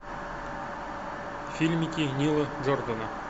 фильмики нила джордона